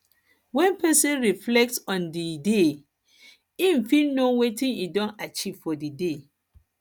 when person reflect person reflect on di day im fit know wetin im don achieve for di day